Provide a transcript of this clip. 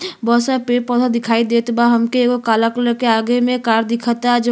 बहुत सारा पेड़ पौधा दिखाई देता बा हम के। एगो काला कलर के आगे मे कार दिखता। ज --